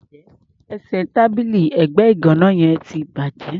Ẹsẹ̀ tábìlì ẹ̀gbẹ́ ìgàná yẹn ti bàjẹ́.